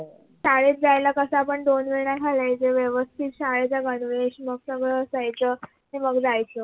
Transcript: शाळेत जायला कस आपण दोन वेण्या घालायच्या व्यवस्तीत शाळेचा गणवेश मग सगळ असायचं नि मग जायचं